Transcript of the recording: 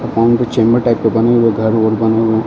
और उनके chamber type के बने हुए घर-वर बने हुए हैं।